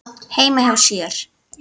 heima hjá sér.